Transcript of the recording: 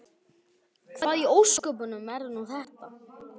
Hvað í ósköpunum er nú þetta?